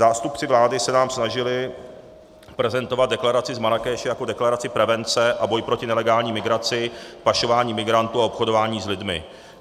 Zástupci vlády se nám snažili prezentovat deklaraci z Marrákeše jako deklaraci prevence a boje proti nelegální migraci, pašování migrantů a obchodování s lidmi.